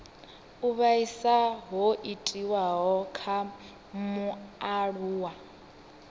u vhaisa ho itiwaho kha mualuwa